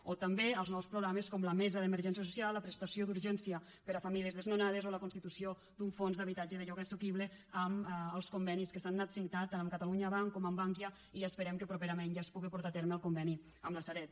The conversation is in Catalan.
o també els nous programes com la mesa d’emergència social la prestació d’urgència per a famílies desnonades o la constitució d’un fons d’habitatge de lloguer assequible amb els convenis que s’han anat signant tant amb catalunya bank com amb bankia i esperem que properament ja es puga portar a terme el conveni amb la sareb